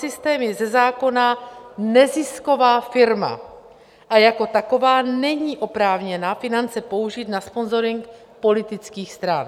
Systém je ze zákona nezisková firma a jako taková není oprávněna finance použít na sponzoring politických stran.